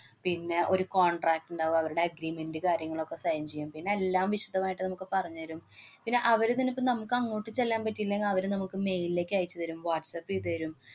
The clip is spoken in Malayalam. പിന്നെ ഒരു contract ഇണ്ടാവും. അവരുടെ agreement കാര്യങ്ങളൊക്കെ sign ചെയ്യാന്‍. പിന്നെ എല്ലാം വിശദമായിട്ട് നമുക്ക് പറഞ്ഞുതരും. പിന്നെ അവര് തന്നെയിപ്പ നമ്മക്ക് അങ്ങോട്ട്‌ ചെല്ലാന്‍ പറ്റിയില്ലെങ്കില്‍ അവര് നമ്മക്ക് mail ലേക്ക് അയച്ചുതരും. വാട്ട്‌സപ്പ് ചെയ്തു തരും.